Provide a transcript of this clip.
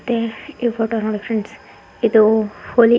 ಅದೇ ಈ ಫೋಟೋ ನೋಡಿ ಫ್ರೆಂಡ್ಸ್ ಇದು ಹೋಳಿತೆ.